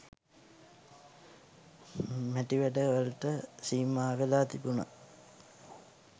මැටි වැඩ වලට සීමාවෙලා තිබුන.